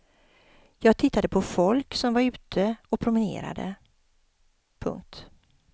Jag tittade på folk som var ute och promenerade. punkt